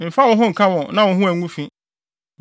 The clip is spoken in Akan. Mfa wo ho nka wɔn na wo ho angu fi.